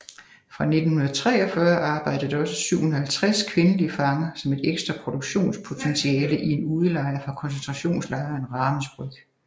Fra 1943 arbejdede der også 750 kvindelige fanger som et ekstra produktionspotentiale i en udelejr fra koncentrationslejren Ravensbrück